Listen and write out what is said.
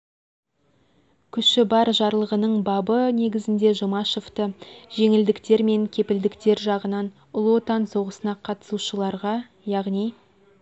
күші бар жарлығының бабы негізінде жұмашевті жеңілдіктер мен кепілдіктер жағынан ұлы отан соғысына қатысушыларға яғни